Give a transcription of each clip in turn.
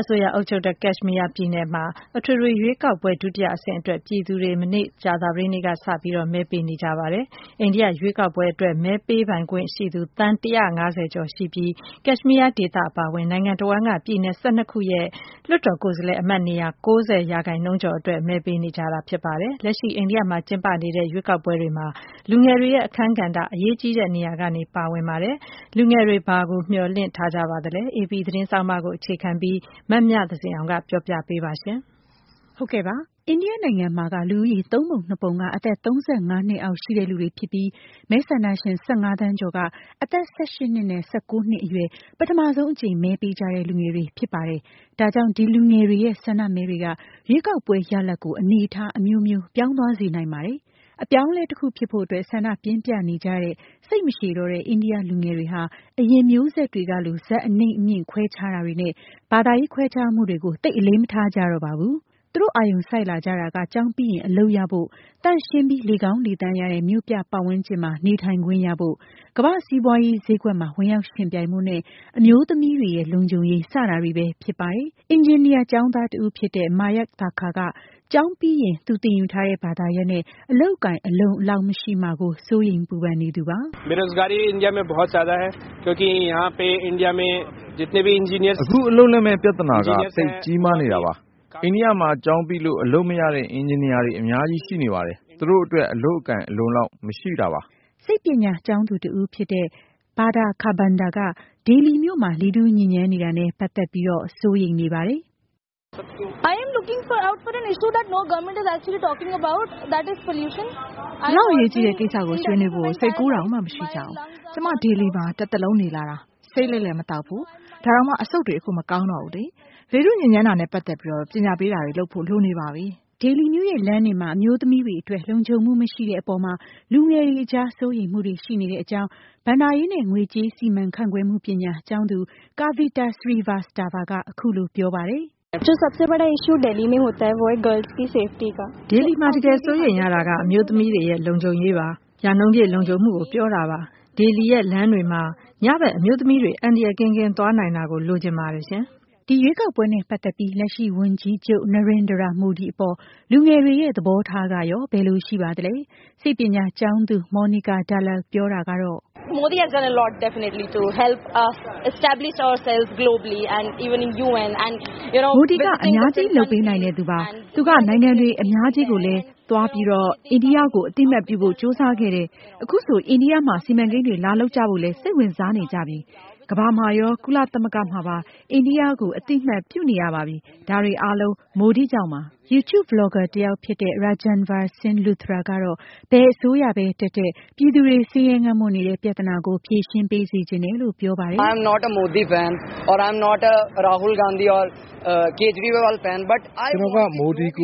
အစိုးရအုပ်ချုပ်တဲ့ ပြည်နယ်တခုဖြစ်တဲ့ Kashmir ပြည်နယ်မှာ အထွေထွေရွေးကောက်ပွဲ ဒုတိယအဆင့်အတွက် ပြည်သူတွေ မနေ့ကြာသပတေးနေ့က စတင် မဲပေးနေကြပါတယ်။ အိန္ဒိယ ရွေးကောက်ပွဲအတွက် မဲပေးပိုင်ခွင့်ရှိသူ သန်း ၁၅၀ ကျော်ရှိပြီး Kashmir ဒေသအပါအဝင် နိုင်ငံ တဝှမ်းက ပြည်နယ် ၁၂ ခုရဲ့ လွှတ်တော်ကိုယ်စားလှယ် အမတ်နေရာ ၉၀% ကျော်အတွက် မဲ ပေးနေကြတာပါ။ လက်ရှိ အိန္ဒိယ မှာကျင်းပနေတဲ့ ရွေးကောက်ပွဲတွေမှာ လူငယ်တွေရဲ့ အခန်းကဏ္ဍက အရေးကြီးတဲ့ နေရာက ပါဝင်နေပါတယ်။ လူငယ်တွေ ဘာကို မျှော်လင့်ထား ကြပါသလဲ။ AP သတင်းဆောင်းပါးကို အခြေခံပြီး မမြသဇင်အောင် ဆက်ပြောပြပေးမှာပါ။ အိန္ဒိယနိုင်ငံမှာက လူဦးရေ ၃ ပုံ ၂ ပုံက အသက် ၃၅ နှစ်အောက်ရှိသူတွေဖြစ်ပြီး မဲဆန္ဒရှင် ၁၅ သန်းကျော်က အသက် ၁၈ နှစ်နဲ့ ၁၉နှစ် အရွယ် ပထမဆုံး အကြိမ်မဲပေးကြတဲ့ လူငယ်တွေ ဖြစ်ပါတယ်။ ဒါကြောင့် ဒီလူငယ်တွေရဲ့ ဆန္ဒမဲတွေက ရွေးကောက်ပွဲ ရလဒ်ကို အနေအထား အမျိုးပြောင်း သွားစေနိုင်ပါတယ်။ အပြောင်းအလဲ တခုဖြစ်လာဖို့ အတွက် ဆန္ဒပြင်းပြနေကြတဲ့ စိတ်မရှည်ကြတော့တဲ့ အိန္ဒိယ လူငယ်တွေဟာ အရင်မျိူးဆက်တွေကလို ဇာတ်အနိမ့်၊ အမြင့် ခွဲခြားတာတွေနဲ့ ဘာသာရေးခွဲခြားမှုတွေ ကို သိပ်အလေးမထားကြတော့ပါဘူး။ သူတို့ အာရုံစိုက်လာကြတာက ကျောင်းပြီးရင် အလုပ်ရ ဖို့၊ သန့်ရှင်းပြီး လေကောင်းလေသန့်ရတဲ့ မြို့ပြပတ်ဝန်းကျင်မှာ နေထိုင်ခွင့်ရဖို့၊ ကမ္ဘာ့စီးပွားရေးဈေးကွက်မှာ ဝင်ရောက်ယှဉ်ပြိုင်ဖို့ နဲ့ အမျိုးသမီးတွေရဲ့ လုံခြူံရေး စတာ တွေပဲဖြစ် ပါ တယ်။ အင်ဂျင်နီယာကျောင်းသားတဦးဖြစ်တဲ့ Mayak Thakur က ကျောင်းပြီးရင် သူသင်ယူထားတဲ့ ဘာသာရပ်နဲ့ အလုပ်အကိုင် အလုံအလောက်မရှိမှာကို စိုးရိမ်ပူပန်နေသူပါ။ “အခု အလုပ်လက်မဲ့ ပြဿနာက သိပ်ကြီးမားနေတာပါ။ အိန္ဒိယမှာ ကျောင်းပြီးလို့ အလုပ်မရတဲ့ အင်ဂျင်နီယာတွေ အများကြီးရှိပါတယ်။ သူတို့အတွက် အလုပ်အကိုင် အလုံအလောက်မရှိတာပါ။” စိတ်ပညာကျောင်းသူတဦးဖြစ်တဲ့ Vardah Kharbanda က ဒေလီမြို့မှာ လေထုညစ်ညမ်းနေတာနဲ့ ပတ်သက်ပြီး စိုးရိမ်နေတာပါ။ “ဒီလောက်အရေးကြီးတဲ့ ကိစ္စကို ဆွေးနွေးဖို့ စိတ်ကူးတောင်မရှိကြဘူး။ ကျွန်မ ဒေလီမြို့မှာ တသက်လုံးနေလာတာ ဆေးလိပ်လည်းမသောက်ဘူး။ အခု အဆုတ်တွေ မကောင်းတော့ဘူး။ လေထုညစ်ညမ်းမှုပြဿနာနဲ့ ပတ်သက်ပြီး ပညာပေးတာ တွေလုပ်ဖို့လိုနေပါပြီ။” ဒေလီမြို့ရဲ့ လမ်းတွေမှာ အမျိုးသမီးတွေအတွက် လုံခြုံမှု မရှိတဲ့ အပေါ်မှာလည်း လူငယ်တွေကြား စိုးရိမ်မှုတွေရှိနေကြပါတယ်။ ဘဏ္ဍာရေး နဲ့ ငွေကြေးစီမံခန့်ခွဲမှုပညာ ကျောင်းသူ Kavita Srivastava ကတော့ “ဒေလီမှာ တကယ်စိုးရိမ်ရတာက အမျိုးသမီးတွေအတွက် လုံခြုံရေးပါ။ ရာနှုန်းပြည့်လုံခြုံမှု ကို ပြောတာပါ။ ဒေလီရဲ့လမ်းတွေမှာ ညဘက် အမျိုးသမီးတွေ အန္တရာယ်ကင်းကင်း သွားနိုင်တာလိုချင်ပါတယ်။” ဒီရွေးကောက်ပွဲနဲ့ ပတ်သက်ပြီး လက်ရှိဝန်ကြီးချူပ် Narendra Modi အပေါ်လူငယ်တွေရဲ့ သဘောထားကရော ဘယ်လို ရှိပါသလဲ။ စိတ်ပညာကျောင်းသူ Monika Dalal ပြောတာကတော့ “Modi က အများကြီးလုပ်ပေးနိုင်တဲ့ သူပါ။ သူကနိုင်ငံတွေ အများကြီးကိုလည်းသွားပြီး အိန္ဒိယကို အသိအမှတ်ပြုဖို့ကြိုးစားခဲ့တယ်။ အခုဆို အိန္ဒိယမှာ စီမံကိန်းတွေ လာလုပ်ကြဖို့လည်း စိတ်ဝင်စား နေကြပြီ။ ကမ္ဘာမှာရော ကုလသမဂ္ဂမှာပါ အိန္ဒိယကို အသိအမှတ်ပြု နေရပါပြီ။ ဒါတွေအားလုံး Modi ကြောင့်ပါ။” YouTube Vlogger တယောက်ဖြစ်တဲ့ Rajanvir Singh Luthra ကတော့ ဘယ်အစိုးရတက်တက် ပြည်သူတွေကို ဆင်းရဲငတ်မွတ်နေတဲ့ ပြဿနာကို ဖြေရှင်းပေးစေချင်တယ်လို့ ပြောပါတယ်။ “ကျွန်တော်က Modi ကိ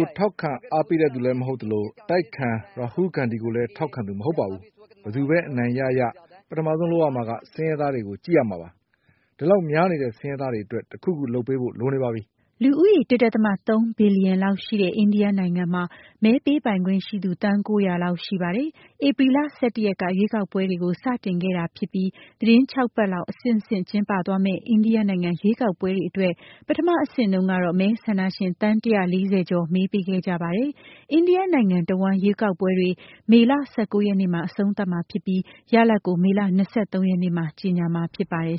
ုထောက်ခံအားပေးသူမဟုတ်သလို၊ အတိုက်အခံ Rahul Gandhi ကို ထောက်ခံသူလည်းမဟုတ်ပါဘူး။ ဘယ်သူပဲ အနိုင်ရရ ပထမဆုံးလုပ်ရမှာက ဆင်းရဲသားတွေကို ကြည့်ရမှာ။ ဆင်းရဲသားတွေအတွက် တခုခု လုပ်ပေးဖို့လိုနေပြီ။” လူဦးရေ ၁.၃ ဘီလျံလောက်ရှိတဲ့ အိန္ဒိယနိုင်ငံမှာ မဲပေးပိုင်ခွင့်ရှိသူ သန်း ၉၀၀ လောက်ရှိပါတယ်။ ဧပြီ လ ၁၁ ရက်က ရွေးကောက်ပွဲတွေကို စတင်ခဲ့တာဖြစ်ပြီး သီတင်း ၆ ပတ်လောက် အဆင့်ဆင့်ကျင်းပသွားမယ့် အိန္ဒိယနိုင်ငံ ရွေးကောက်ပွဲတွေအတွက် ပထမအဆင့်တုန်းကတော့ မဲဆန္ဒရှင်သန်း ၁၄၀ ကျော် မဲပေးခဲ့ကြပါတယ်။ India နိုင်ငံတဝန်းရွေးကောက်ပွဲတွေ မေလ ၁၉ ရက်နေ့မှာ အဆုံးသတ်မှာဖြစ်ပြီး ရလဒ်ကို မေလ ၂၃ ရက်နေ့မှာ ကြေညာမှာဖြစ်ပါတယ်